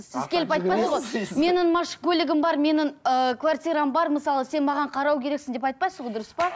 сіз келіп айтпайсыз ғой менің көлігім бар менің ыыы квартирам бар мысалы сен маған қарау керексің деп айтпайсыз ғой дұрыс па